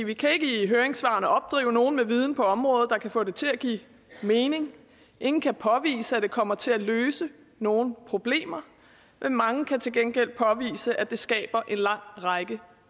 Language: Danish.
vi kan ikke i høringssvarene opdrive nogen med viden på området der kan få det til at give mening ingen kan påvise at det kommer til at løse nogen problemer men mange kan til gengæld påvise at det skaber en lang række